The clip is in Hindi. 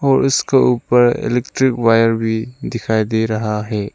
और उसके ऊपर इलेक्ट्रिक वायर भी दिखाई दे रहा है।